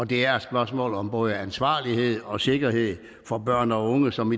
det er et spørgsmål om både ansvarlighed og sikkerhed for børn og unge som